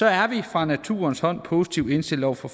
er vi fra naturens hånd positivt indstillet over for